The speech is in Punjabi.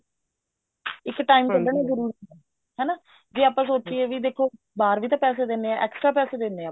ਇੱਕ time ਕੱਡਣਾ ਜਰੂਰੀ ਹੈ ਹਨਾ overlap ਜੇ ਆਪਾਂ ਸੋਚਿਏ ਵੀ ਦੇਖੋ ਬਾਹਰ ਵੀ ਤਾਂ ਪੈਸੇ ਦਿਨੇ ਹਾਂ extra ਪੈਸੇ ਦਿੰਦੇ ਹਾਂ ਆਪਾਂ